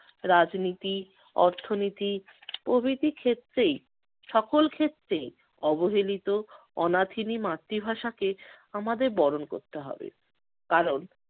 রাজনীতি, অর্থনীতি প্রভৃতি ক্ষেত্রেই~ সকল ক্ষেত্রেই অবহেলিত অনাথিনী মাতৃভাষাকে আমাদের বরণ করতে হবে। কারণ